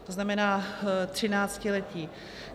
To znamená třináctiletí.